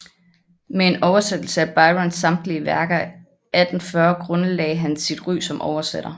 Med en oversættelse af Byrons samtlige værker 1840 grundlagde han sit ry som oversætter